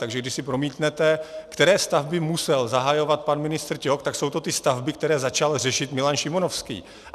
Takže když si promítnete, které stavby musel zahajovat pan ministr Ťok, tak jsou to ty stavby, které začal řešit Milan Šimonovský.